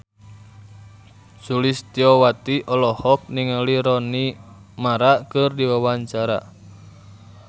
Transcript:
Sulistyowati olohok ningali Rooney Mara keur diwawancara